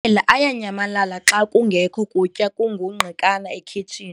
ayanyamalala xa kungekho kutya kungungqikana ekhitshini.